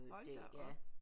Hold da op